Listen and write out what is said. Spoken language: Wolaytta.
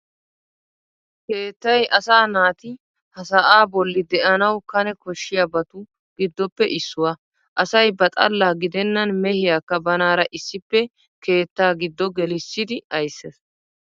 Keettay asaa naati ha sa"aa bolli de'anawu kane koshshiyabatu giddoppe issuwaa. Asay ba xalla gidennan mehiyaakka banaara issippe keettaa giddo gelissidi ayssees.